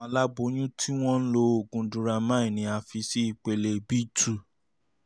àwọn aláboyún tí wọ́n ń lo oògùn duramine um ni a fi sí ipele b two